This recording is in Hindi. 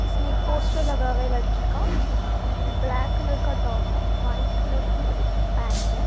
इसमें एक पोस्टर लगा हुआ है लड़की का ब्लैक कलर का टॉप है व्हाइट कलर की पेंट है।